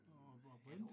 Og og Bent?